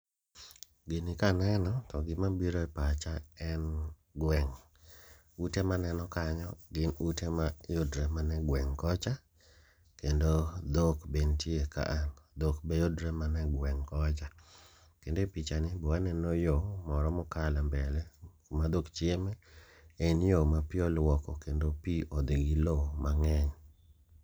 Gini kaneno to gima bire pacha en gweng', ute maneno kanyo gin ute ma yudre mane gweng' kocha. Kendo dhok be ntie kaa, dhok be yudre mane gweng' kocha. Kendo e picha ni be waneno yo moro mokalo e mbele kuma dhok chieme. En yo ma pi olwoko kendo pi odhi gi lo mang'eny.